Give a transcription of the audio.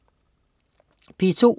P2: